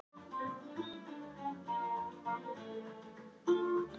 Ákveðinn greinir í fleirtölu.